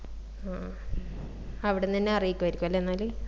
ആ ആഹ് അവിടിന്നെന്നെ അറിയിക്കുവായിരിക്കും അല്ലെ എന്നാല്